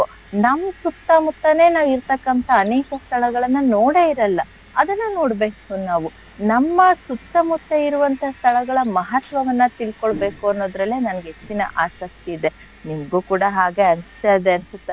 ನಮ್ ಸುತ್ತ ಮುತ್ತಾನೆ ನಾವ್ ಇರ್ತಕ್ಕಂಥ ಅನೇಕ ಸ್ಥಳಗಳನ್ನ ನೋಡೇ ಇರಲ್ಲ ಅದನ್ನ ನೋಡ್ಬೇಕು ನಾವು ನಮ್ಮ ಸುತ್ತ ಮುತ್ತ ಇರುವಂಥ ಸ್ಥಳಗಳ ಮಹತ್ವವನ್ನ ತಿಳ್ಕೊಳ್ಬೇಕು ಅನ್ನೋದ್ರಲ್ಲೆ ನನ್ಗೆ ಹೆಚ್ಚಿನ ಆಸಕ್ತಿ ಇದೆ. ನಿಮ್ಗು ಕೂಡ ಹಾಗೆ ಅನ್ಸ್ತಾ ಇದೆ ಅನ್ಸುತ್ತೆ,